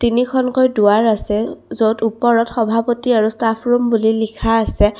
তিনিখনকৈ দুৱাৰ আছে য'ত ওপৰত সভাপতি আৰু ষ্টাফ্ ৰুম বুলি লিখা আছে।